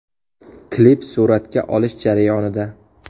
Klip suratga olish jarayonida.